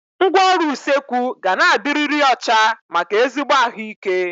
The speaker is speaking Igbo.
Ngwaọrụ usekwu ga na-adiriri ọcha maka ezigbo ahụ ike